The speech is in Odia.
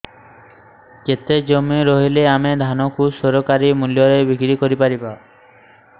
କେତେ ଜମି ରହିଲେ ଆମେ ଧାନ କୁ ସରକାରୀ ମୂଲ୍ଯରେ ବିକ୍ରି କରିପାରିବା